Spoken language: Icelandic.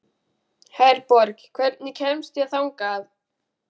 Herborg, hvernig kemst ég þangað?